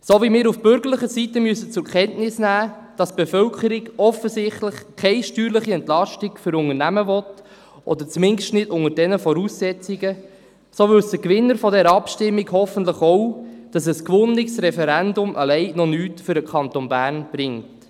So wie wir von bürgerlicher Seite zur Kenntnis nehmen müssen, dass die Bevölkerung offensichtlich keine steuerliche Entlastung für Unternehmen will, oder zumindest nicht unter diesen Voraussetzungen, so wissen die Gewinner dieser Abstimmung hoffentlich auch, dass ein gewonnenes Referendum alleine noch nichts für den Kanton Bern bringt.